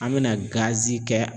An bɛna kɛ